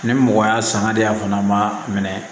Ni mɔgɔ y'a sanga de a fana ma minɛ